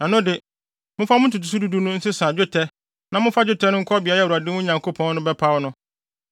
ɛno de, momfa mo ntotoso du du no nsesa dwetɛ na momfa dwetɛ no nkɔ beae a Awurade, mo Nyankopɔn no, bɛpaw no.